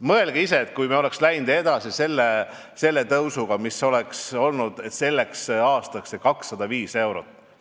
Mõelge ise, kui me oleks läinud edasi endise tõusuga, siis sellel aastal oleks see miinimum olnud 205 eurot!